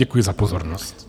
Děkuji za pozornost.